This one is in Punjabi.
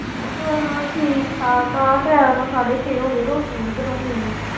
ਹਨ ਠੀਕ ਠਾਕ ਆ time ਸਾਢੇ ਛੇ ਹੋਗਏ ਰੋਟੀ ਵੀ ਬਣਾਉਣੀ ਆ।